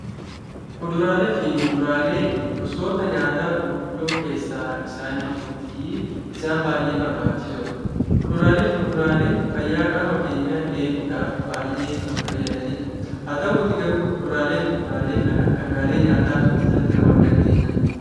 Kuduraalee fi muduraaleen gosoota nyaataa gurguddoo keessaa isaan ijoo fi isaan baay'ee barbaachisoo dha. Kuduraalee fi muduraaleen fayyaa qaama keenyaa eeguudhaaf baay'ee kan fayyadani dha. Haa ta'uutii garuu Kuduraalee fi muduraakee kana dhangaalee nyaataa kam jalatti ramaduu dandeenya?